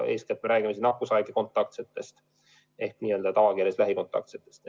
Eeskätt räägime nakkushaigete kontaktsetest ehk tavakeeles lähikontaktsetest.